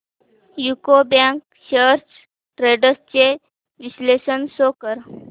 UCO bank shares trends चे विश्लेषण show कर